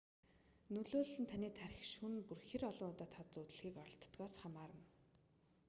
нөлөөлөл нь таны тархи шөнө бүр хэр олон удаа тод зүүдлэхийг оролддогоос хамаарна